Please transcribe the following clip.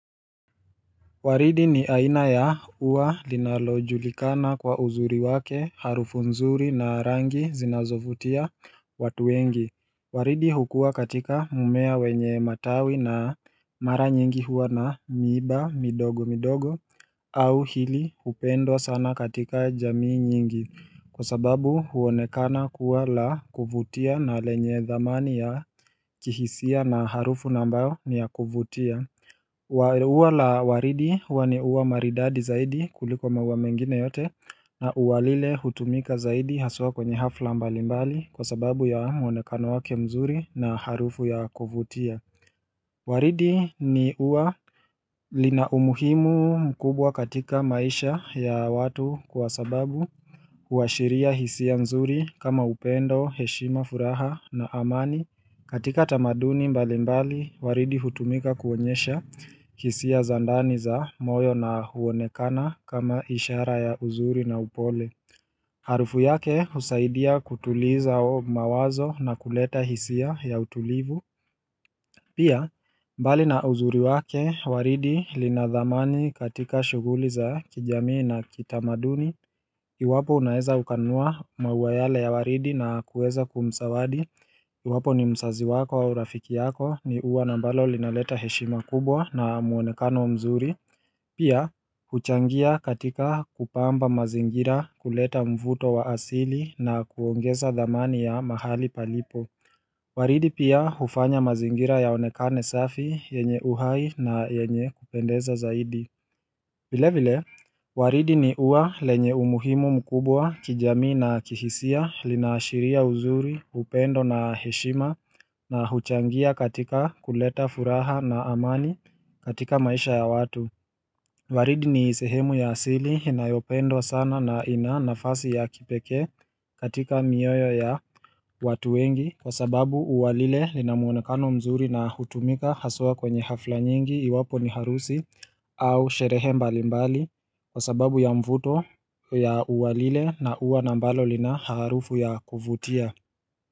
Waridi ni aina ya ua linalojulikana kwa uzuri wake harufu nzuri na rangi zinazovutia watu wengi Waridi hukua katika mmea wenye matawi na mara nyingi huwa na miba midogo midogo au hili hupendwa sana katika jamii nyingi Kwa sababu huonekana kuwa la kuvutia na lenye thamani ya kihisia na harufu na ambayo ni ya kuvutia ua la waridi huwa ni ua maridadi zaidi kuliko maua mengine yote na ua lile hutumika zaidi haswa kwenye hafla mbalimbali kwa sababu ya mwonekano wake mzuri na harufu ya kuvutia Waridi ni ua lina umuhimu mkubwa katika maisha ya watu kwa sababu huashiria hisia mzuri kama upendo, heshima, furaha na amani katika tamaduni mbalimbali waridi hutumika kuonyesha hisia za ndani za moyo na huonekana kama ishara ya uzuri na upole Harufu yake husaidia kutuliza mawazo na kuleta hisia ya utulivu Pia mbali na uzuri wake waridi lina thamani katika shughuli za kijamii na kitamaduni iwapo unaeza ukanunua maua yale ya waridi na kueza kumsawadi iwapo ni msazi wako au rafiki yako ni ua na ambalo linaleta heshima kubwa na muonekano mzuri Pia huchangia katika kupamba mazingira kuleta mvuto wa asili na kuongeza dhamani ya mahali palipo Waridi pia hufanya mazingira yaonekane safi yenye uhai na yenye kupendeza zaidi vile vile, waridi ni ua lenye umuhimu mkubwa kijamii na kihisia, linaashiria uzuri, upendo na heshima na huchangia katika kuleta furaha na amani katika maisha ya watu. Waridi ni sehemu ya asili inayopendwa sana na ina nafasi ya kipekee katika mioyo ya watu wengi kwa sababu ua lile lina muonekano mzuri na hutumika haswa kwenye hafla nyingi iwapo ni harusi au sherehe mbalimbali kwa sababu ya mvuto ya ua lile na huwa na ambalo lina harufu ya kuvutia.